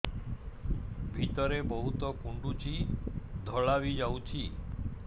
ଭିତରେ ବହୁତ କୁଣ୍ଡୁଚି ଧଳା ବି ଯାଉଛି